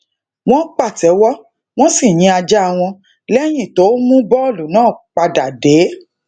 wón pàtéwó wón sì yin ajá wọn léyìn tó o mu bóòlù náà pada de